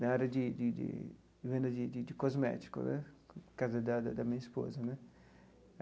na área de de de venda de de cosméticos né, por causa da da da minha esposa né.